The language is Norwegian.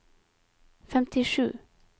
femtisju